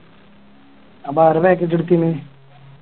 അതാരാ Package എടുത്തിന്